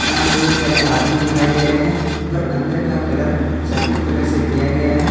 यहां पे बहुत सारे आदमीन दिखाई दे रहे हैं और अंदर का कलर सफेद कलर से किया गया है।